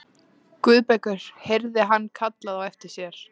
Guðbergur heyrði hann kallað á eftir sér.